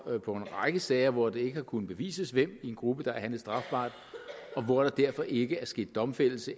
så på en række sager hvor det ikke har kunnet bevises hvem i en gruppe der har handlet strafbart og hvor der derfor ikke er sket domfældelse